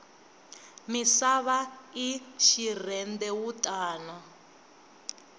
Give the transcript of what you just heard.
misava i xirhendewutani